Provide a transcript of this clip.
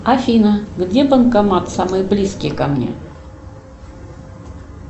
афина где банкомат самый близкий ко мне